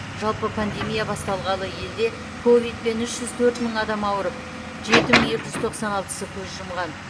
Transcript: жалпы пандемия басталғалы елде ковидпен үш жүз төрт мың адам ауырып жеті мың екі жүз тоқсан алтысы көз жұмған